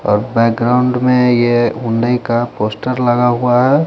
और बैकग्रॉउंड में ये उन्नई का पोस्टर लगा हुआ है।